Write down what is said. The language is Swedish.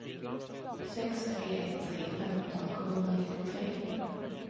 sex tre ett tre femton sjuhundranittiotre